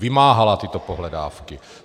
Vymáhala tyto pohledávky.